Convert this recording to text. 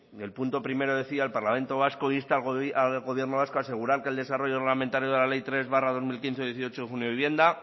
el punto primero decía el parlamento vasco insta al gobierno vasco a asegurar que el desarrollo reglamentario de la ley tres barra dos mil quince de dieciocho de junio de vivienda